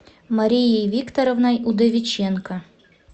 марией викторовной удовиченко